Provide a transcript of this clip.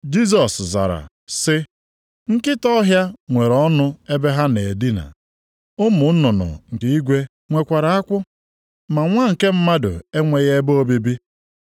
Jisọs zara, sị, “Nkịta ọhịa nwere ọnụ ebe ha na-edina. Ụmụ nnụnụ nke igwe nwekwara akwụ; ma Nwa nke Mmadụ enweghị ebe obibi.”